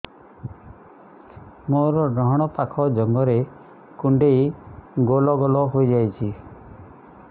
ମୋର ଡାହାଣ ପାଖ ଜଙ୍ଘରେ କୁଣ୍ଡେଇ ଗୋଲ ଗୋଲ ହେଇଯାଉଛି